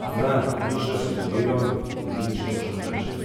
Ne, nič ne sugeriram in nič nočem reči.